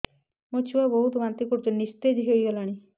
ମୋ ଛୁଆ ବହୁତ୍ ବାନ୍ତି କରୁଛି ନିସ୍ତେଜ ହେଇ ଗଲାନି